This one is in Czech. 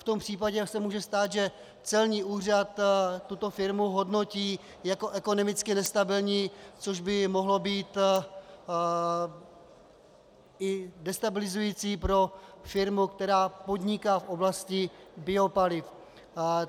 V tom případě se může stát, že celní úřad tuto firmu hodnotí jako ekonomicky nestabilní, což by mohlo být i destabilizující pro firmu, která podniká v oblasti biopaliv.